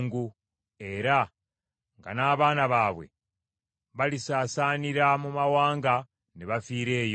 era nga n’abaana baabwe balisaasaanira mu mawanga ne bafiira eyo.